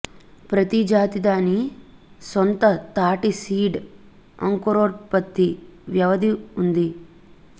ప్రతి జాతి దాని సొంత తాటి సీడ్ అంకురోత్పత్తి వ్యవధి ఉంది